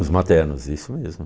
Os maternos, isso mesmo.